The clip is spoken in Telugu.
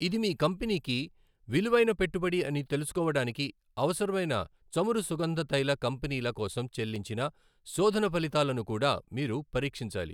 ఇది మీ కంపెనీకి విలువైన పెట్టుబడి అని తెలుసుకోవడానికి అవసరమైన చమురు సుగంధతైల కంపెనీల కోసం చెల్లించిన శోధన ఫలితాలను కూడా మీరు పరీక్షించాలి.